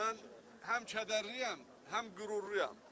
Mən həm kədərliyəm, həm qürurluyam.